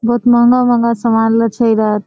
बहुत महंगा-महंगा सामानला छे इरात--